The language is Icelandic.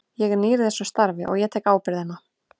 Ég er nýr í þessu starfi og ég tek ábyrgðina.